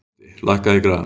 Mundi, lækkaðu í græjunum.